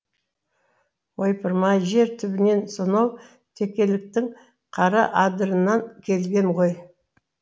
ойпырмай жер түбінен сонау текеліктің қара адырынан келген ғой